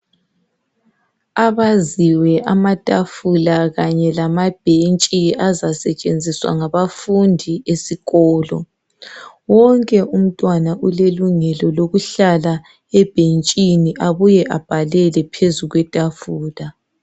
Abaziwe amatafula kanye lamabhentshi azasetshenziswa ngabafundi esikolo wonke umntwana ulelungelo lokuhlala ebhentshini abuye abhalele phezu kwetafula